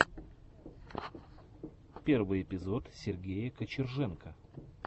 первый эпизод сергея кочерженко